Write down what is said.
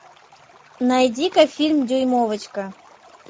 найди ка фильм дюймовочка